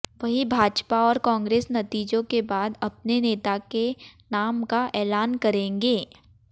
वहीं भाजपा और कांग्रेस नतीजों के बाद अपने नेता के नाम का ऐलान करेंगे